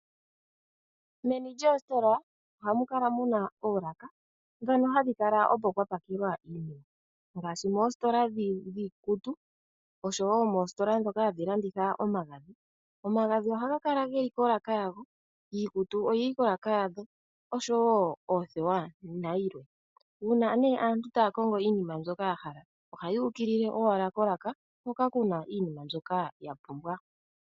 Meni lyoostola ohamu kala muna oolaka ndhono hadhi kala opo pwapakelwa ngaashi moositola dhiikutu oshowoo moositola ndhoka hadhi landitha omagadhi . Omagadhi ohaga kala geli kolaka yawo niikutu oyili koolaka dhawo oshowoo oothewa nayilwe . Uuna aantu taya kongo iinima yawo yahala, ohaya ukilile owala kolaka hoka kuna iinima mbyoka yahala .